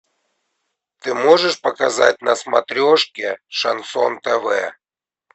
ты можешь показать на смотрешке шансон тв